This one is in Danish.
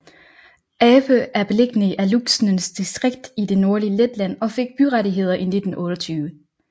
Ape er beliggende i Alūksnes distrikt i det nordlige Letland og fik byrettigheder i 1928